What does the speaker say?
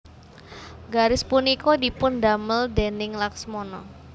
Garis punika dipun damel déning Laksmana